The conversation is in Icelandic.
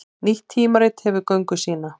Nýtt tímarit hefur göngu sína